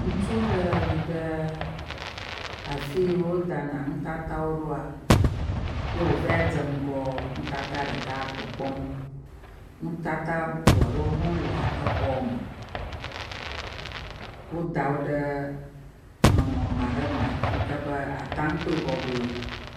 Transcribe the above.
Ŋutsu aɖe yi ɖe afi yio wodana nutata wo ɖoa ye wova dze ŋgɔ nutata ɖelkea kpɔkpɔm. nutata bubu aɖewo hã le exɔa me. Woda wo ɖe nɔnɔme aɖe me si ke be ate ŋu akpɔe bɔbɔe.